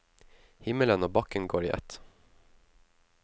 Himmelen og bakken går i ett.